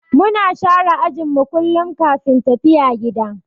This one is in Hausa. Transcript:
Muna share ajin mu kullum kafin tafiya gida.